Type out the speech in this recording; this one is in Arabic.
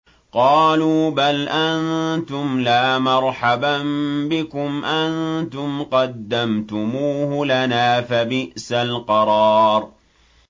قَالُوا بَلْ أَنتُمْ لَا مَرْحَبًا بِكُمْ ۖ أَنتُمْ قَدَّمْتُمُوهُ لَنَا ۖ فَبِئْسَ الْقَرَارُ